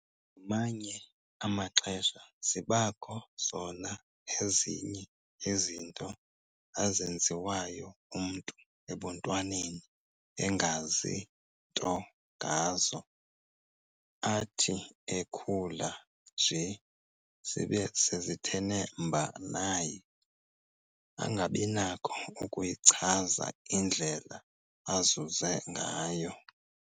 Ngamanye amaxesha zibakho zona ezinye izinto azenziwayo umntu ebuntwaneni engazi nto ngazo, athi ekhula nje zibe sezithene mba naye angabinakho ukuyichaza indlela azuze ngayo.